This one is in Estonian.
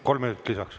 Kolm minutit lisaks.